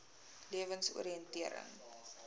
lewensoriëntering